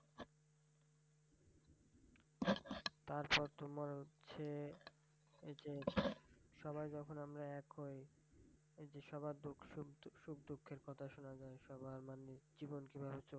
তারপর তোমার হচ্ছে, ঐ যে সবাই যখন আমরা এক হয় এই যে সবার দুঃখ সুখ সুখ দুঃখ কথা শুনা যায় সবার মানে জীবন কই ভাবে চলছে ।